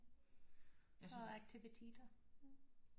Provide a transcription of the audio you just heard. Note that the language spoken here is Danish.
Og aktiviteter